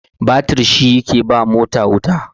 batir shi yake ba mota wuta